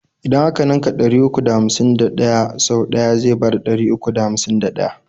idan a ka ninka ɗari uku da hamsin da ɗaya sau ɗaya zai bada ɗari uku da hamsin da ɗaya.